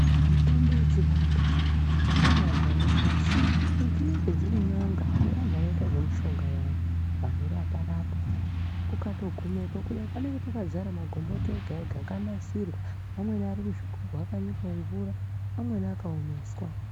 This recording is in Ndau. Mitombo yechivantu vamweni vantu vanoinasira dzinenge dziri n'anga nevantu vanoita zvemushonga vayani vanorapa rapa ukato gumepo kudai panenge pakadzara magomboti ega ega akatonasirwa akanyikwe mumvura amweni akaomeswa